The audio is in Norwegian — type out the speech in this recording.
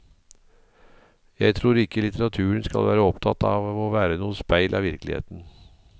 Jeg tror ikke litteraturen skal være opptatt av å være noe speil av virkeligheten.